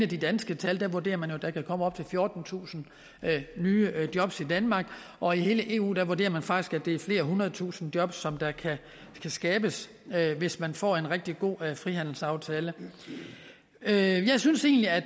de danske tal vurderer man at der kan komme op til fjortentusind nye jobs i danmark og i hele eu vurderer man faktisk at det er flere hundredetusinde jobs som kan skabes hvis man får en rigtig god frihandelsaftale jeg synes egentlig at